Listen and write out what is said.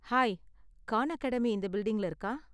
Hi, Khan Academy இந்த பில்டிங்ல இருக்கா?